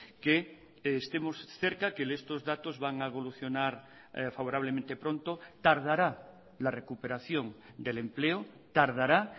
que estemos cerca que estos datos van a evolucionar favorablemente pronto tardará la recuperación del empleo tardará